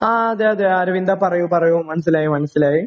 ആ. അതെ. അതെ. അരവിന്ദാ, പറയൂ. പറയൂ. മനസ്സിലായി. മനസ്സിലായി.